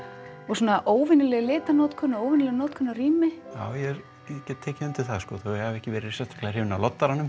svona óvenjuleg litanotkun og óvenjuleg notkun á rými já ég get tekið undir það þótt ég hafi ekki verið sérstaklega hrifinn af